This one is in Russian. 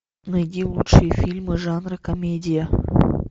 найди лучшие фильмы жанра комедия